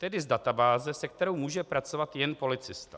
Tedy z databáze, se kterou může pracovat jen policista.